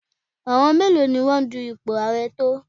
Àwọn mélòó ni wọ́n dun ipò ààrẹ tọ̀?